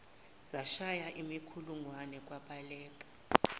zashaya imikhulungwane kwabaleka